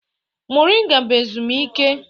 Moringa bụ ezumike